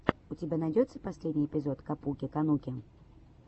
у тебя найдется последний эпизод капуки кануки